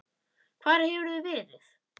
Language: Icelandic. Hvar hefurðu verið?